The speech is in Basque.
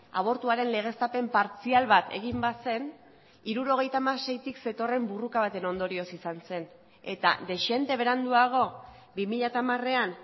abortuaren legeztapen partzial bat egin bazen hirurogeita hamaseitik zetorren borroka baten ondorioz izan zen eta dezente beranduago bi mila hamarean